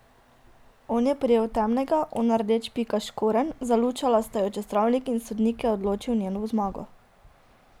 On je prijel temnega, ona rdeč pikast škorenj, zalučala sta ju čez travnik in sodnik je odločil njeno zmago.